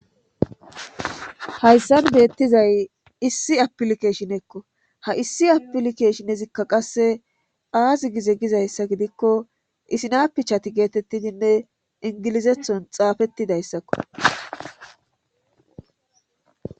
hayssan beettizay issi apilike shinekko ha issi apilikeshinezikka qasse aazi gize gizayssa gidikko isinapichati geetettidinne ingilizethon xaafettidayssakko